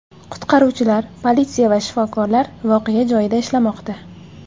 Qutqaruvchilar, politsiya va shifokorlar voqea joyida ishlamoqda.